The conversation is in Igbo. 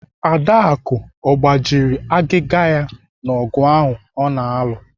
Adaku ọ gbajiri agịga ya n'ogụ ahụ ọ na-alụ?